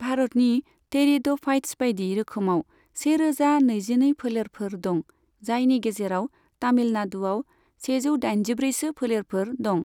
भारतनि टेरिड'फाइत्स बायदि रोखोमाव सेरोजा नैजिनै फोलेरफोर दं, जायनि गेजेराव तामिलनाडुआव सेजौ दाइनजिब्रैसो फोलेरफोर दं।